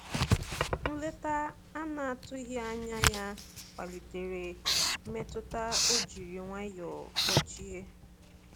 Nleta anatughi anya ya kwalite mmetụta o jiri nwayo kpochie.